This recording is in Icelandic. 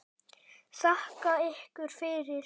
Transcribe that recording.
Þakka ykkur fyrir!